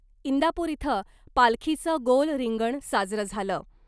इंदापूर इथं पालखीचं गोल रिंगण साजरं झालं .